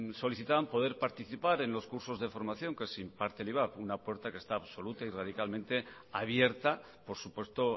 solicitaban poder participar en los cursos de formación que se imparte en ivap una puerta que está absoluta y radicalmente abierta por supuesto